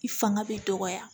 I fanga bɛ dɔgɔya